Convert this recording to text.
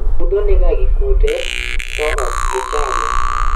budho nigagi kute, to okgichame